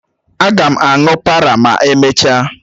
Aga m aṅụ párà ma emechaa